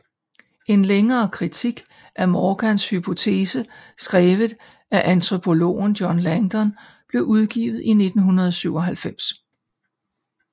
En længere kritik af Morgans hypotese skrevet af antropologen John Langdon blev udgivet i 1997